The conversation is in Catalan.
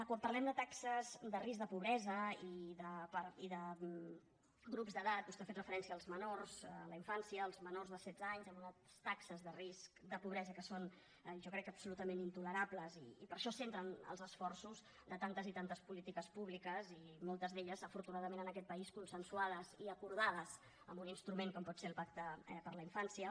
quan parlem de taxes de risc de pobresa i de grups d’edat vostè ha fet referència als menors a la infància als menors de setze anys amb unes taxes de risc de pobresa que són jo crec que absolutament intolerables i per això es centren els esforços de tantes i tantes polítiques públiques i moltes d’elles afortunadament en aquest país consensuades i acordades amb un instrument com pot ser el pacte per a la infància